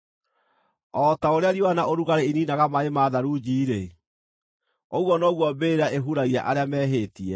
O ta ũrĩa riũa na ũrugarĩ iniinaga maaĩ ma tharunji-rĩ, ũguo noguo mbĩrĩra ĩhuragia arĩa mehĩtie.